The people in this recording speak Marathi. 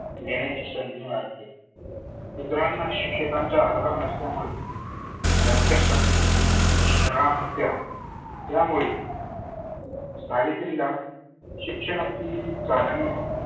येण्याची संधी मिळाली. शुध्रांना शिक्षणाचा अधार नसल्यामुळे त्याच्यासाठी शाळा नव्हत्या त्यामुळे सावित्रीला शिक्षणाची जानीव नव्हती.